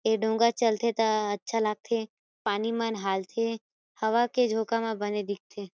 ए डोंगा चलथे त अच्छा लागथे पानी मन हालथे हवा के झोंका ह बने दिख थे।